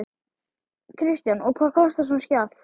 Kristján: Og hvað kostar svona skjal?